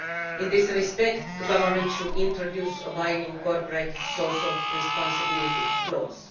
In this respect, the government should introduce a binding corporate social responsibility clause.